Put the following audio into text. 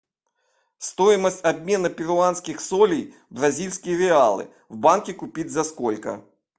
стоимость обмена перуанских солей в бразильские реалы в банке купить за сколько